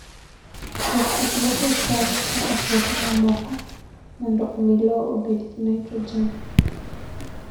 Jopur loko cham kaka puothe mamoko mondo omi lowo obed gi nitrogen.